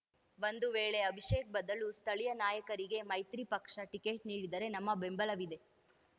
ಬಂದು ವೇಳೆ ಅಭಿಷೇಕ್‌ ಬದಲು ಸ್ಥಳೀಯ ನಾಯಕರಿಗೆ ಮೈತ್ರಿ ಪಕ್ಷ ಟಿಕೆಟ್‌ ನೀಡಿದರೆ ನಮ್ಮ ಬೆಂಬಲವಿದೆ